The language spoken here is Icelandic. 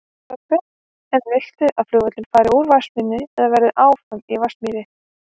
Þorbjörn: En viltu að flugvöllurinn fari úr Vatnsmýri eða verði áfram í Vatnsmýri?